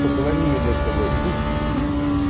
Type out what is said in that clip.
только возьми меня с собой